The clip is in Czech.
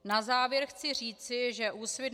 Na závěr chci říci, že Úsvit -